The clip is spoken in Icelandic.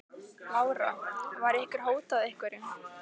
Lára: Var ykkur hótað einhverju?